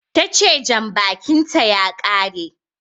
Tace Janbakin ta ya kare